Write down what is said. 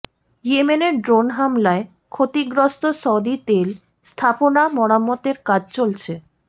ইয়েমেনের ড্রোন হামলায় ক্ষতিগ্রস্ত সৌদি তেল স্থাপনা মেরামতের কাজ চলছে